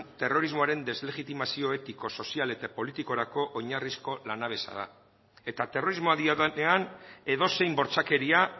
terrorismoaren deslegitimazio etiko sozial eta politikorako oinarrizko lanabesa da eta terrorismoa diodanean edozein bortxakeria